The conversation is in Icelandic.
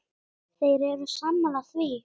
Þeir eru sammála því.